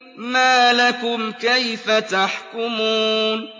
مَا لَكُمْ كَيْفَ تَحْكُمُونَ